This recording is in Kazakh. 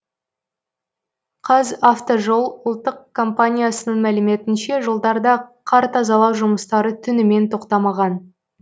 қазавтожол ұлттық компаниясының мәліметінше жолдарда қар тазалау жұмыстары түнімен тоқтамаған